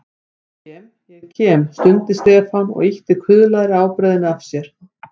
Ég kem, ég kem stundi Stefán og ýtti kuðlaðri ábreiðunni af sér.